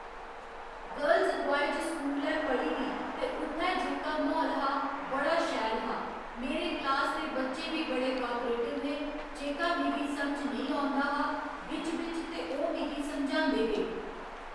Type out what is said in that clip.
girls boys school ऐ पढ़ी दी ते उत्थै जेह्‌का म्हौल हा बड़ा शैल हा मेरे क्लास दे बच्चे बी बड़े कापरेटिव हे जेह्का मिगी समझ नेईं औंदा हा बिच्च बिच्च ते ओह् मिगी समझांदे हे